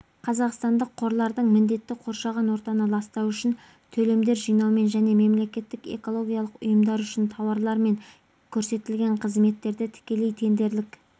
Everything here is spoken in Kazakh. қазақстандық қорлардың міндеті қоршаған ортаны ластау үшін төлемдер жинаумен және мемлекеттік экологиялық ұйымдар үшін тауарлар мен көрсетілетін қызметтерді тікелей тендерлік